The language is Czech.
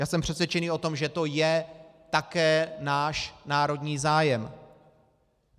Já jsem přesvědčený o tom, že to je také náš národní zájem.